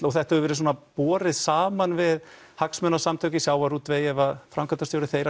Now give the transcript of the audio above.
og þetta hefur verið borið saman við hagsmunasamtök í sjávarútvegi ef framkvæmdarstjóri þeirra